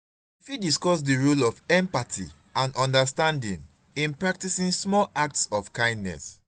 you fit discuss di role of empathy and understanding in practicing small acts of kindness.